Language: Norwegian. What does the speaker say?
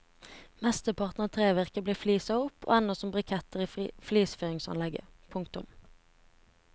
Mesteparten av trevirket blir fliset opp og ender som briketter i flisfyringsanlegg. punktum